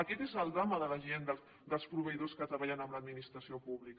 aquest és el drama dels proveïdors que treballen amb l’administració pública